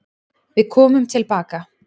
Við komum tilbaka.